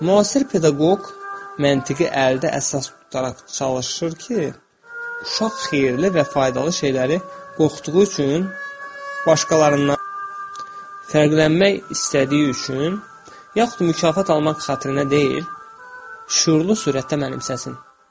Müasir pedaqoq məntiqi əldə əsas tutaraq çalışır ki, uşaq xeyirli və faydalı şeyləri qorxduğu üçün başqalarından fərqlənmək istədiyi üçün yaxud mükafat almaq xatirinə deyil, şüurlu surətdə mənimsəsin.